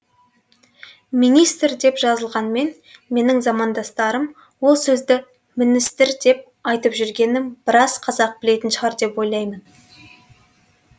министр деп жазылғанмен менің замандастарым ол сөзді міністір деп айтып жүргенін біраз қазақ білетін шығар деп ойлаймын